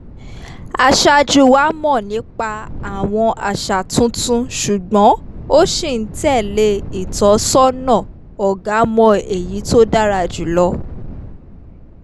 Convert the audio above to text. aṣáájú wa mọ̀ nípa àwọn àṣà tuntun ṣùgbọ́n ó ṣì ń tẹ̀lé ìtọ́sọ́nà "ọ̀gá mọ èyí tó dára jù lọ"